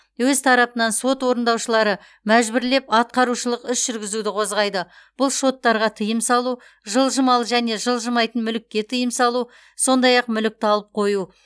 өз тарапынан сот орындаушылары мәжбүрлеп атқарушылық іс жүргізуді қозғайды бұл шоттарға тыйым салу жылжымалы және жылжымайтын мүлікке тыйым салу сондай ақ мүлікті алып қою